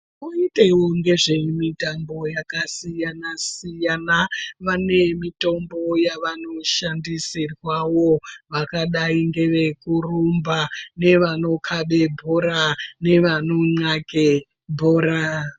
Koitewo nezvemitambo yakasiyana siyana vane mitombo yavanoshandisirwawo vakadai ngevekurumba nevanokhabe bhora nevano nxake bhora.